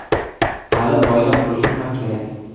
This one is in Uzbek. Hali oila qurishim ham kerak.